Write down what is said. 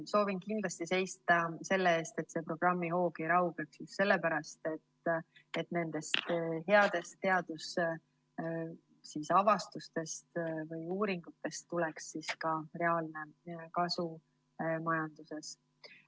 Soovin kindlasti seista selle eest, et programmi hoog ei raugeks, just sellepärast, et nendest headest teadusavastustest või ‑uuringutest tuleks ka reaalne kasu majanduses.